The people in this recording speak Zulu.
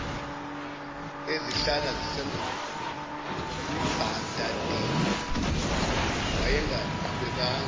ezihlala zisembadadeni wayengaqhubekanga